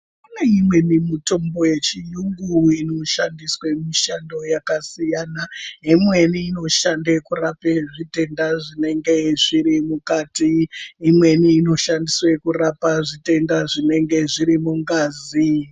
Pane imweni mitombo yechiyungu inoshandiswa mushando yakasiyana imweni inoshande kurape zvitenda zvinenge zviri mukati imweni inoshandiswa kurapa zvitenda zvinenge zviri mungazi.